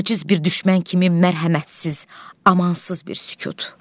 Aciz bir düşmən kimi mərhəmətsiz, amansız bir sükut.